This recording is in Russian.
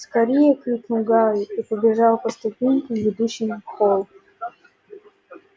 скорее крикнул гарри и побежал по ступенькам ведущим в холл